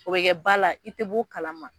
O be kɛ ba la i te ba la i te b'o kalama